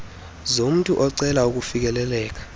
zomntu ocela ukufikelela